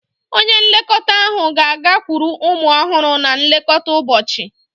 Onye nlekọta ahụ ga-agakwuru ụmụ ọhụrụ na nlekọta ụbọchị.